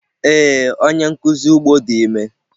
Ee, onye nkuzi ugbo di ime.